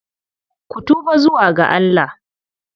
Ku tuba zuwa ga Allah!